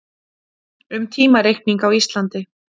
um tímareikning á íslandi